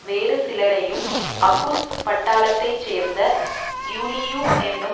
வேறுசிலரையும் August பட்டாளத்தைச்சேர்ந்த யூலியு என்னும்